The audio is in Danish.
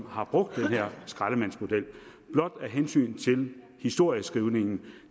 har brugt den her skraldemandsmodel blot af hensyn til historieskrivningen